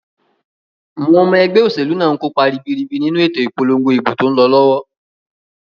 Àwon omo egbé òsèlú náà nkópa ribiribi nínu ètò ìpolongo ìbò tón lo lówó